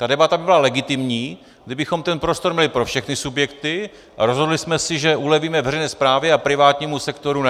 Ta debata by byla legitimní, kdybychom ten prostor měli pro všechny subjekty a rozhodli jsme si, že ulevíme veřejné správě a privátnímu sektoru ne.